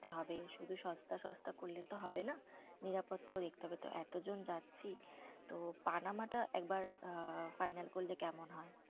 ~তে হবে। শুধু সস্তা সস্তা করলে তো হবে না। নিরাপত্তাও দেখতে হবে। তো এতজন যাচ্ছি, তো পানামাটা একবার আ final করলে কেমন হয়?